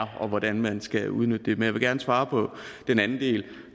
og hvordan man skal udnytte det men jeg vil gerne svare på den anden del